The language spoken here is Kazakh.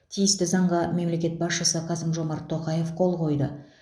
тиісті заңға мемлекет басшысы қасым жомарт тоқаев қол қойды